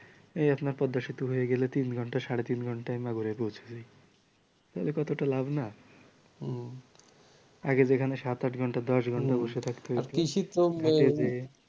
এই আপনার পদ্মাসেতু হয়ে গেলে তিন ঘণ্টা সাড়ে তিন ঘণ্টা মাগুরায় পৌঁছে যাই তাইলে কতটা লাভ না আগে যেখানে সাত আট দশ ঘন্টা বসে থাকতে হতো